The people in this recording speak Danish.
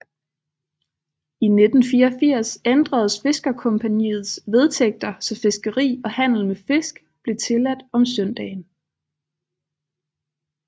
I 1984 ændredes Fiskercompagniets vedtægter så fiskeri og handel med fisk blev tilladt om søndagen